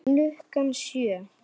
Klukkan sjö.